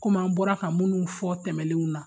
Kom'an bɔra ka munnu fɔ tɛmɛnenw na